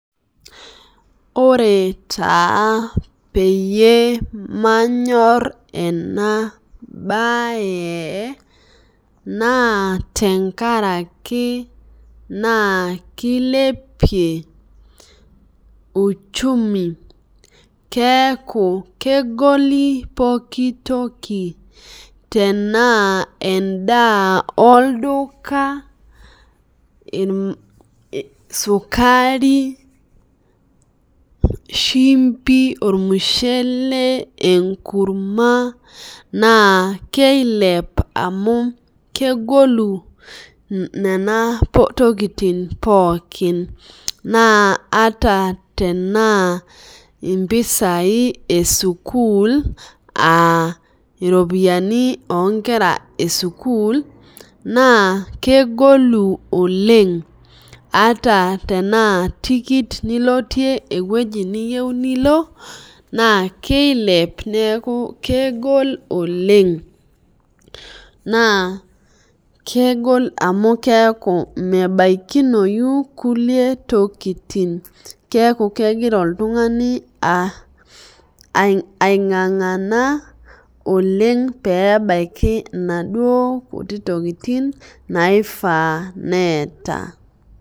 Ore taa peyie manyor enabae na tenkaraki na kilepie uchumi keeta kegoli pooki toki tanaa endaa olduka sukari, shumbi, ormushele, enkurma na kilep amu kegolu nonatokitin pookin ata tanaa mpisai esukul ana ropiyani onkera esukul na kegolu oleng ata ana tikit nilotie ewoi niyieu nilo na keilep neakubkegol oleng na kegola amu keaku mebakinoi kulie tokitin keaku kegira oltungani aingangana oleng pebaki naduo kuti tokitin naifaa neeta.